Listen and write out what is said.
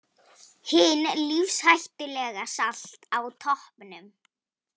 Hin lífshættulega Salt á toppnum